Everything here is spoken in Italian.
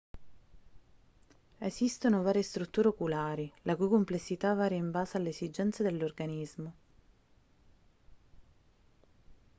esistono varie strutture oculari la cui complessità varia in base alle esigenze dell'organismo